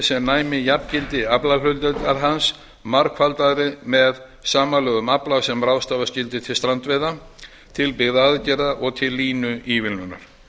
sem næmi jafngildi aflahlutdeildar hans margfaldaðri með samanlögðum afla sem ráðstafa skyldi til strandveiða til byggðaaðgerða og til línuívilnunar